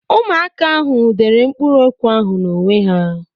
Ụmụaka ahụ dere mkpụrụokwu ahụ n'onwe ha.